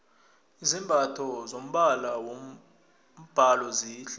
izambatho zombala wombhalo zihle